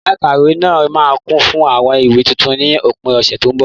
Yàrá ikawe náà máa kún fún àwọn ìwé tuntun ni òpin ọ̀sẹ̀ tó ń bọ̀.